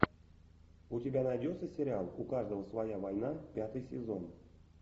у тебя найдется сериал у каждого своя война пятый сезон